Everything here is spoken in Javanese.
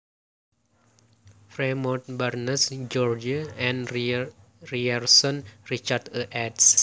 Fremont Barnes Gregory and Ryerson Richard A eds